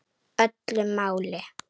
Öllu máli.